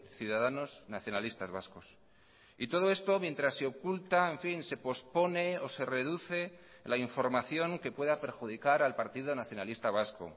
ciudadanos nacionalistas vascos y todo esto mientras se oculta en fin se pospone o se reduce la información que pueda perjudicar al partido nacionalista vasco